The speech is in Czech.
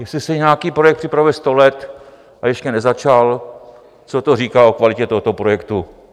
Jestli se nějaký projekt připravuje sto let a ještě nezačal, co to říká o kvalitě tohoto projektu?